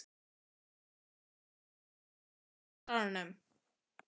Kaðlín, hækkaðu í hátalaranum.